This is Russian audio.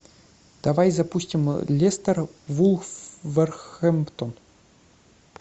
давай запустим лестер вулверхэмптон